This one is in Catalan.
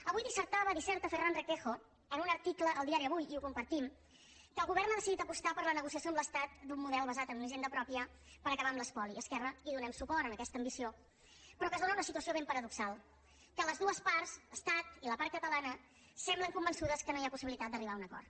avui dissertava disserta ferran requejo en un article al diari avuiapostar per la negociació amb l’estat d’un model basat en una hisenda pròpia per acabar amb l’espoli i esquerra hi donem suport a aquesta ambició però que es dóna una situació ben paradoxal que les dues parts estat i la part catalana semblen convençudes que no hi ha possibilitat d’arribar a un acord